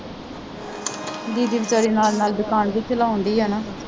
ਦੀਦੀ ਬੇਚਾਰੀ ਨਾਲ ਨਾਲ ਦੁਕਾਨ ਵੀ ਚਲਾਉਣ ਡੇਈ ਹੈ ਨਾ